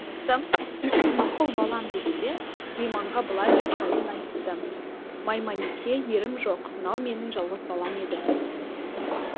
анасы мақұл балам деді де мейманға былай деп жайын айтты мейманеке ерім жоқ мынау менің жалғыз балам еді